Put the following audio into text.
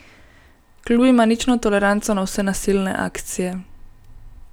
Klub ima nično toleranco na vse nasilne akcije.